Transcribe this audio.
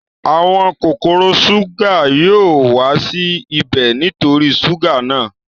Àwọn kòkòrò súgà yóò wá sí ibẹ̀ nítorí súgà náà